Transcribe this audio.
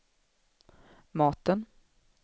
maten